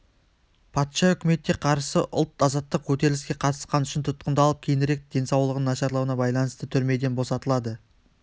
патша үкіметіне қарсы ұлт-азаттық көтеріліске қатысқаны үшін тұтқындалып кейінірік денсаулығының нашарлауына байланысты түрмеден босатылады